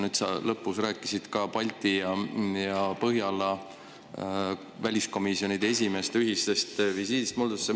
Nüüd lõpus sa rääkisid ka Põhjala-Balti riikide väliskomisjonide esimeeste ühisest visiidist Moldovasse.